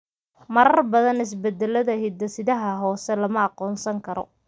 Marar badan isbeddellada hidde-sidaha hoose lama aqoonsan karo.